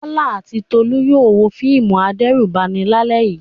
Bọ́lá àti Tolú yóò wo fíìmù adẹ́rùbani lálẹ́.